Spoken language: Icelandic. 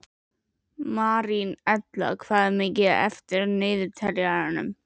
Marínella, hvað er mikið eftir af niðurteljaranum?